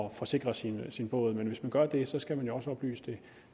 at forsikre sin sin båd men hvis man gør det skal man jo også oplyse det